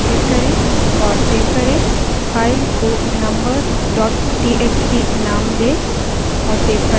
file को numbers txt name दें और save पर क्लिक करें